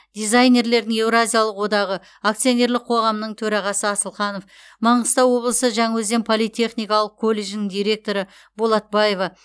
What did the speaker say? дизайнерлердің еуразиялық одағы акционерлік қоғамының төрағасы асылханов маңғыстау облысы жаңаөзен политехникалық колледжінің директоры болатбаева